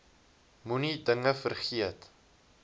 moenie dinge vergeet